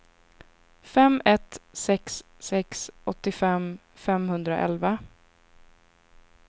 fem ett sex sex åttiofem femhundraelva